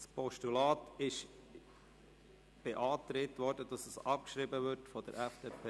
Das Postulat ist vonseiten FDP/Haas zur Abschreibung beantragt.